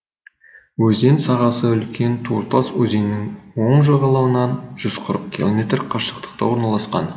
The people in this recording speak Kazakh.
өзен сағасы үлкен туртас өзенінің оң жағалауынан жүз қырық километр қашықтықта орналасқан